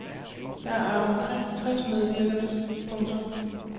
Der er omkring tres medvirkende. punktum